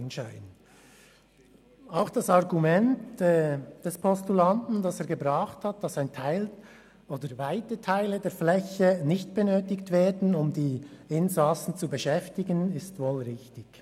Auch das vom Postulanten vorgebrachte Argument, dass weite Teile der Flächen nicht benötigt würden, um die Insassen zu beschäftigen, ist wohl richtig.